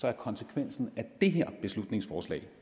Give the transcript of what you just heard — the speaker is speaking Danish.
er konsekvensen af det her beslutningsforslag